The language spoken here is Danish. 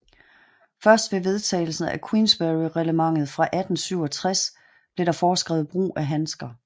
Først ved vedtagelsen af Queensberryreglementet fra 1867 blev der foreskrevet brug af handsker